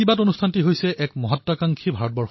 ৰাজনীতিয়েই সৰ্বস্ব হৈ পৰাটো ভাল ব্যৱস্থাৰ লক্ষণ নহয়